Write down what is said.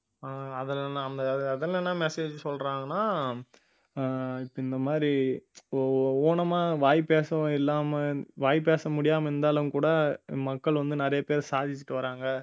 ஆஹ் அதுல என்ன அதுல என்ன message சொல்றாங்கன்னா ஆஹ் இப்ப இந்த மாதிரி ஊ~ ஊனமா வாய் பேசவும் இல்லாம வாய் பேச முடியாம இருந்தாலும் கூட மக்கள் வந்து நிறைய பேர் சாதிச்சிட்டு வர்றாங்க